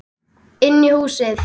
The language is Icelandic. Inn í húsið?